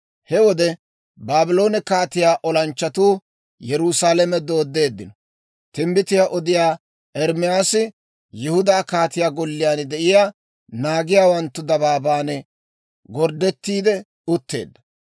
He wode Baabloone kaatiyaa olanchchatuu Yerusaalame dooddeeddino; timbbitiyaa odiyaa Ermaasi Yihudaa kaatiyaa golliyaan de'iyaa, naagiyaawanttu dabaaban gorddetti utteedda.